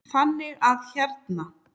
Þannig að hérna.